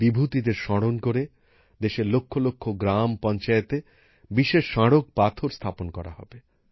এই বিভূতিদের স্মরণ করে দেশের লক্ষ লক্ষ গ্রাম পঞ্চায়েতে বিশেষ স্মারক শিলান্যাস করা হবে